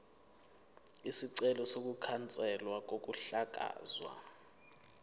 isicelo sokukhanselwa kokuhlakazwa